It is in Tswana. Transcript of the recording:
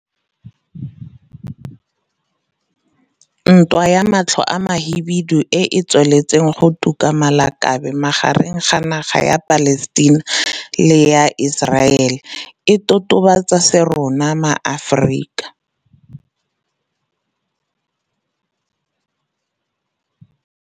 Ntwa ya matlho a mahibidu e e tsweletseng go tuka malakabe magareng ga naga ya Palestina le ya Iseraele e totobatsa se rona maAforika